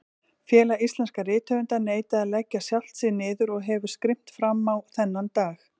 Félag íslenskra rithöfunda neitaði að leggja sjálft sig niður og hefur skrimt frammá þennan dag.